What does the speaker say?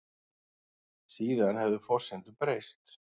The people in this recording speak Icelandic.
Síðan hefðu forsendur breyst